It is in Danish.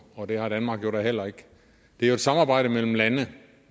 og det har danmark jo heller ikke det er et samarbejde mellem lande